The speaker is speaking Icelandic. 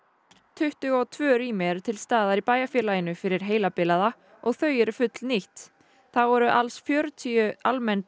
tuttugu og tvö rými eru til staðar í bæjarfélaginu fyrir heilabilaða og þau eru fullnýtt þá eru alls fjörutíu almenn